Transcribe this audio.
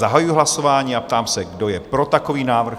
Zahajuji hlasování a ptám se, kdo je pro takový návrh?